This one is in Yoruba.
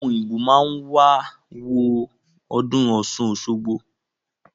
Àwọn Òyìnbó má wá ń wo ọdún Ọ̀ṣun-Òṣogbo